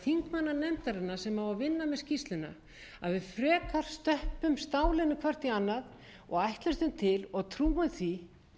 vinna með skýrsluna að við frekar stöppum stálinu hvert í annað og ætlustum til og trúum því að það verði unnið með þessa skýrslu